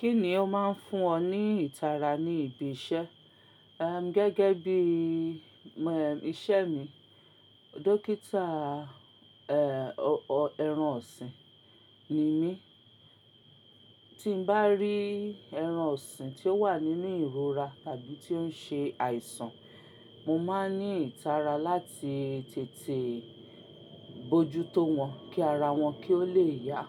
Kí ni ó má ń fún ọ ní ìtara ní ibi iṣẹ́, ehm, gẹ́gẹ́ bí iṣẹ́ mi? Dókítà, ẹh ẹran ọ̀sìn ni mí. Tí n bá rí ẹran ọ̀sìn tí ó wà nínú ìrora tàbí tí ó ń ṣe àìsàn, mo má ń ní ìtara láti tètè bójú tó wọn kí ara wọn kí ó lè yá,